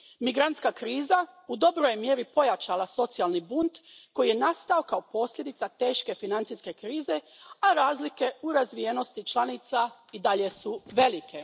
Migrantska kriza u dobroj je mjeri pojačala socijalni bunt koji je nastao kao posljedica teške financijske krize, a razlike u razvijenosti članica i dalje su velike.